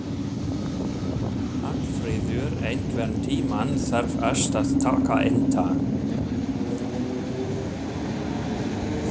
Hallfreður, einhvern tímann þarf allt að taka enda.